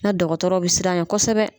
Na dɔgɔtɔrɔ bi siran ɲɛ kɔsɛbɛ.